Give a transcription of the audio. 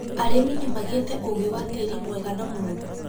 Arĩmi nĩmagĩte ũgĩ wa tĩri mwega na mũru